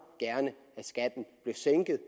gerne at skatten blev sænket